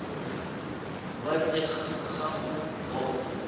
kwa ntle ga go bona